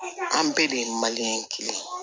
An bɛɛ de ye kelen ye